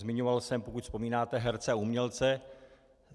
Zmiňoval jsem, pokud vzpomínáte, herce a umělce.